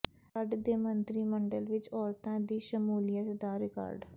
ਰੱਡ ਦੇ ਮੰਤਰੀ ਮੰਡਲ ਵਿੱਚ ਔਰਤਾਂ ਦੀ ਸ਼ਮੂਲੀਅਤ ਦਾ ਰਿਕਾਰਡ